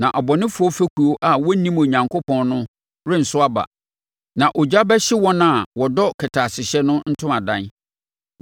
Na abɔnefoɔ fekuo a wɔnnim Onyankopɔn no renso aba, na ogya bɛhye wɔn a wɔdɔ kɛtɛasehyɛ no ntomadan.